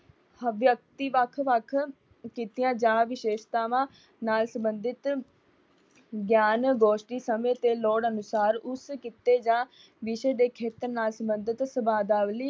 ਵਿਅਕਤੀ ਵੱਖ-ਵੱਖ ਕਿੱਤਿਆਂ ਜਾਂ ਵਿਸ਼ੇਸ਼ਤਾਵਾਂ ਨਾਲ ਸਬੰਧਿਤ ਗਿਆਨ ਗੋਸ਼ਟੀ ਸਮੇਂ ਤੇ ਲੋੜ ਅਨੁਸਾਰ ਉਸ ਕਿੱਤੇ ਜਾਂ ਵਿਸ਼ੇ ਦੇ ਖੇਤਰ ਨਾਲ ਸਬੰਧਿਤ ਸਬਦਾਵਲੀ